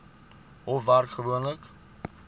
hof werk gewoonlik